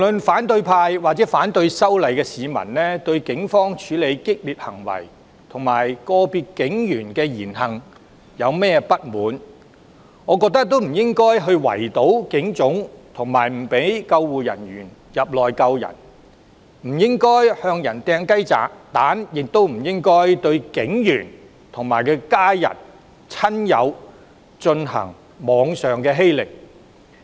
反對派或反對修例的市民對警方處理激烈行為及個別警員的言行即使如何不滿，我認為無論如何也不應圍堵警總、阻止救護員進入救援、向人投擲雞蛋，亦不應向警員及其家人、親友進行網上欺凌。